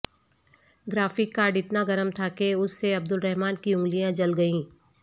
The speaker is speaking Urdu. گرافک کارڈ اتنا گرم تھا کہ اس سے عبدالرحمن کی انگلیاں جل گئیں